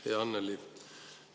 Hea Annely!